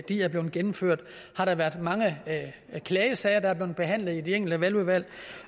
er blev gennemført har der været mange klagesager der er blevet behandlet i de enkelte valgudvalg